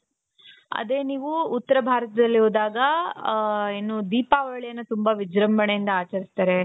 ಅದೇ ನೀವು ಉತ್ತರ ಭಾರತದಲ್ಲಿ ಹೋದಾಗ ಹ ಏನು ದೀಪಾವಳಿಯನ್ನು ತುಂಬಾ ವಿಜೃಂಭಣೆಯಿಂದ ಆಚರಿಸುತ್ತಾರೆ .